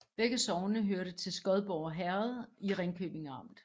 Begge sogne hørte til Skodborg Herred i Ringkøbing Amt